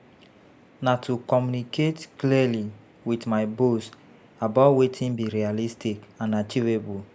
Na to communicate clearly with my boss about wetin be realistic and achievable.